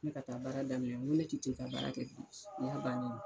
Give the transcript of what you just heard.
Ne ka taa baara daminɛ ko ne tɛ' ka baara kɛ o y'a bannen ye.